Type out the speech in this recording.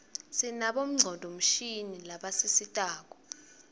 sinabonqcondvo mshini labasisitako